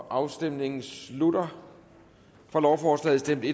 afstemningen slutter for lovforslaget stemte